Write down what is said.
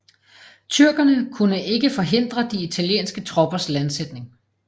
Tyrkerne kunne ikke forhindre de italienske troppers landsætning